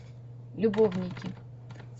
любовники